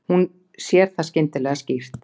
Hún sér það skyndilega skýrt.